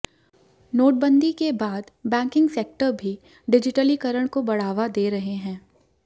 नोटबंदी के बाद बैंकिंग सेक्टर भी डिजिटलीकरण को बढावा दे रहे हैं